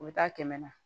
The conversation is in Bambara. U bɛ taa kɛmɛ na